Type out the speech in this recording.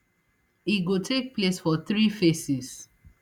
e go take place for three phases